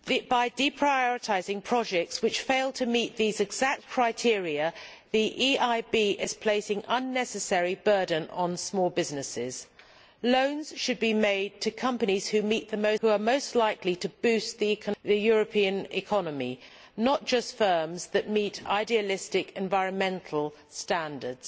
By deprioritising projects which fail to meet these exact criteria, the EIB is placing an unnecessary burden on small businesses. Loans should be made to companies which are most likely to boost the European economy, not just firms that meet idealistic environmental standards.